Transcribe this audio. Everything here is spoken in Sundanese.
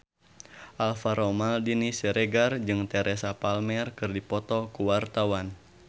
Alvaro Maldini Siregar jeung Teresa Palmer keur dipoto ku wartawan